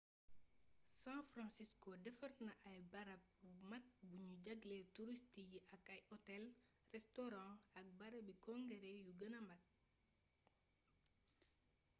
san francisco defar na ab barab bu mag buñuy jagleel turist yi ak ay otel restaurants ak barabi kongéré yu gëna mag